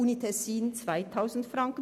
Die Universität Tessin ebenso.